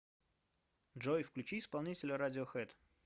джой включи исполнителя радиохэд